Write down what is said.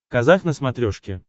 казах на смотрешке